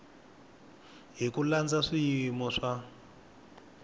hi ku landza swiyimo swa